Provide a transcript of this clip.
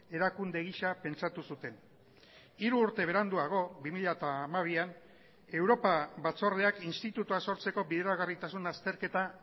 erakunde gisa pentsatu zuten hiru urte beranduago bi mila hamabian europa batzordeak institutua sortzeko bideragarritasun azterketa